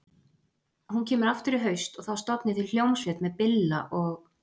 Hún kemur aftur í haust og þá stofnið þið hljómsveit með Billa og